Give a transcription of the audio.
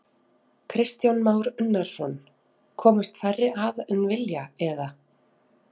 Kristján Már Unnarsson: Komast færri að en vilja eða?